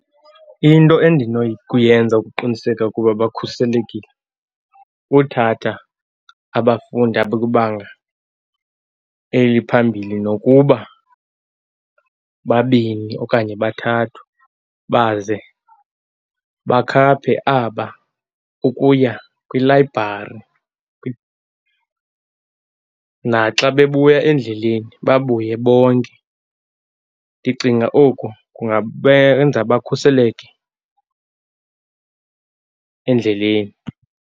Into endinokuyenza ukuqiniseka ukuba bakhuselekile, kuthatha abafundi abakwibanga eliphambili nokuba babini okanye bathathu baze bakhaphe aba ukuya kwilayibhari . Naxa bebuya endleleni babuye bonke. Ndicinga oku kungabenza bakhuseleke endleleni.